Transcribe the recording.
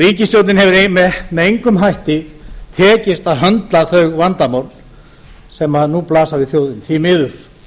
ríkisstjórninni hefur með engum hætti tekist að höndla þau vandamál sem nú blasa við þjóðinni því miður